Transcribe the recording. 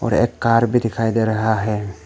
और एक कार भी दिखाई दे रहा है।